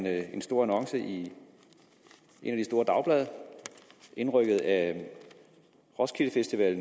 er en stor annonce i et af de store dagblade indrykket af roskilde festival